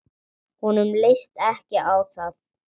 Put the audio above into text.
Honum leist ekki á það.